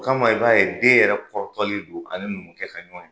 O kama i b'a ye den yɛrɛ kɔrɔtɔlen don ani numukɛ ka ɲɔgɔn ye